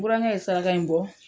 Burankɛ ye saraka in bɔ